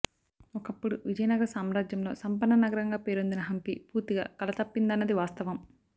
ఒకప్పుడు విజయనగర సామ్రాజ్యంలో సంపన్న నగరంగా పేరొందిన హంపి పూర్తిగా కళ తప్పిందన్నది వాస్తవం